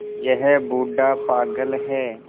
यह बूढ़ा पागल है